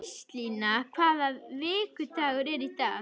Gíslína, hvaða vikudagur er í dag?